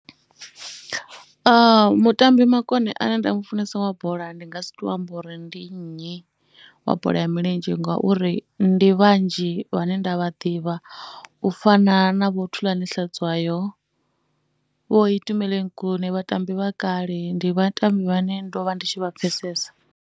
Mutambi makone ane nda mu funesa wa bola ndi nga si tou amba uri ndi nnyi wa bola ya milenzhe ngauri ndi vhanzhi vhane ndi a vha ḓivha. U fana na Vho Thulani Hlatshwayo, Itumeleng Khune, vhatambi vha kale, ndi vhatambi vhane ndo vha ndi tshi vha pfhesesa.